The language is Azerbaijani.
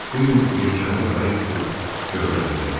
Bu gün yelkənli qayıq tutub göldə gəzərik.